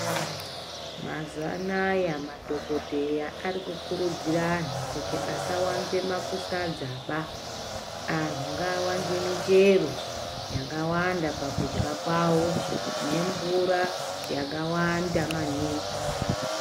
Mazuva anoaya madhokodheya ari kuridzira antu kuti asawanza masadza ba antu ngaawanze michero yakawanda pakudya kwavo nemvura yakawanda maningi.